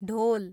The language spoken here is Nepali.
ढोल